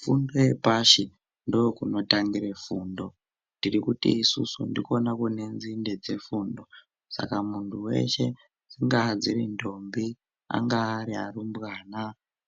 Fundo yepashi ndokunotangire fundo tirikuti isusu ndikona kunenzinde dzefundo. Saka muntu veshe dzingaa dziri ndombi angaa ari arumbwana